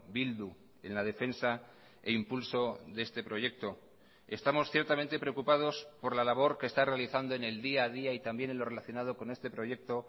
bildu en la defensa e impulso de este proyecto estamos ciertamente preocupados por la labor que está realizando en el día a día y también en lo relacionado con este proyecto